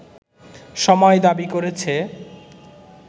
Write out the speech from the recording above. সময় দাবি করেছে